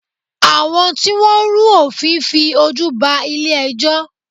Àwọn tí Wọ́n rú òfin fi ojú ba ilé ẹjọ́.